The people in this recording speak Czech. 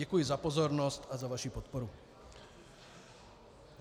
Děkuji za pozornost a za vaši podporu.